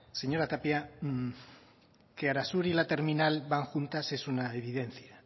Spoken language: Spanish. señora tapia que arasur y la terminal van juntas es una evidencia